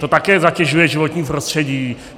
To také zatěžuje životní prostředí.